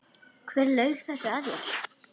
Hver laug þessu að þér?